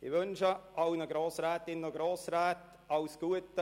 Ich wünsche allen Grossrätinnen und Grossräten alles Gute.